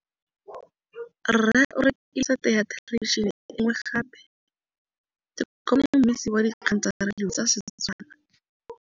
Rre o rekile sete ya thêlêbišênê e nngwe gape. Ke kopane mmuisi w dikgang tsa radio tsa Setswana.